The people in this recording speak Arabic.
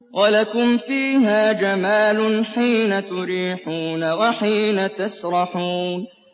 وَلَكُمْ فِيهَا جَمَالٌ حِينَ تُرِيحُونَ وَحِينَ تَسْرَحُونَ